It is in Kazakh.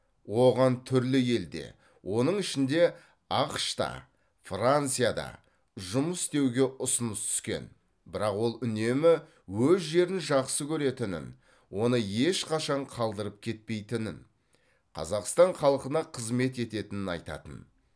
оған түрлі елде оның ішінде ақш та францияда жұмыс істеуге ұсыныс түскен бірақ ол үнемі өз жерін жақсы көретінін оны ешқашан қалдырып кетпейтінін қазақстан халқына қызмет ететінін айтатын